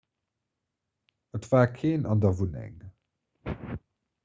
et war keen an der wunneng